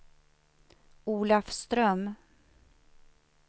Olafström